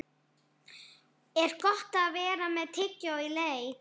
Er Gott að vera með tyggjó í leik?